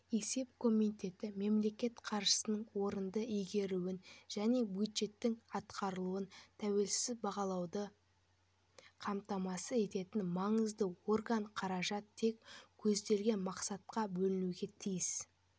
есеп комитеті мемлекет қаржысының орынды игерілуін және бюджеттің атқарылуын тәуелсіз бағалауды қамтамасыз ететін маңызды орган қаражат тек көзделген мақсатқа бөлінуге тиіс